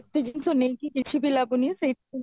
ଏତେ ଜିନିଷ ନେଇକି କିଛି ବି ଲାଭ ନାହିଁ ସେଇଠି